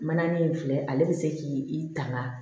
Mana nin filɛ ale bɛ se k'i tanga